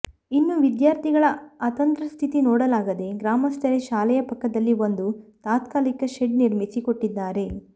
ಇನ್ನು ವಿದ್ಯಾರ್ಥಿಗಳ ಅತಂತ್ರ ಸ್ಥಿತಿ ನೋಡಲಾಗದೆ ಗ್ರಾಮಸ್ಥರೆ ಶಾಲೆಯ ಪಕ್ಕದಲ್ಲಿ ಒಂದು ತಾತ್ಕಾಲಿಕ ಶೆಡ್ ನಿರ್ಮಿಸಿ ಕೊಟ್ಟಿದ್ದಾರೆ